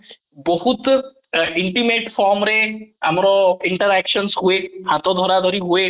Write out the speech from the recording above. ବହୁତ intimate form ରେ ଆମର interaction ହୁଏ ହାତ ଧାରା ଧରି ହୁଏ